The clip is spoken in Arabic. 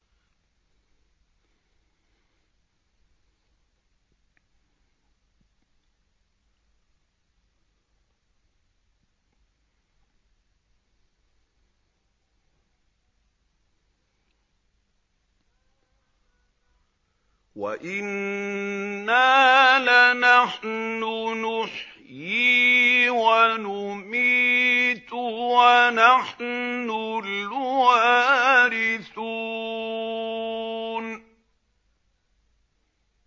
وَإِنَّا لَنَحْنُ نُحْيِي وَنُمِيتُ وَنَحْنُ الْوَارِثُونَ